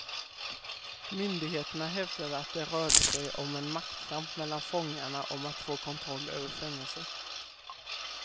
Myndigheterna hävdade att det rörde sig om en maktkamp mellan fångarna om att få kontroll över fängelset.